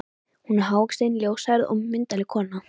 Hún er hávaxin, ljóshærð og myndarleg kona.